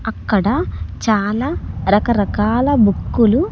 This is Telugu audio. అక్కడ చాలా రకరకాల బుక్కులు .